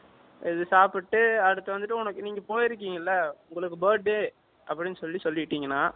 இது சாப்பிட்டு அடுத்து வந்து உனக்கு நீங்க போய் இருக்கீங்கள உங்களுக்கு birthday அப்படின்னு சொல்லி சொல்லிட்டீங்கன்னா